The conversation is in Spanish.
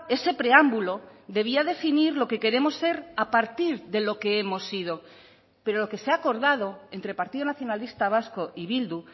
ese preámbulo debía definir lo que queremos ser a partir de lo que hemos sido pero lo que se ha acordado entre el partido nacionalista vasco y bildu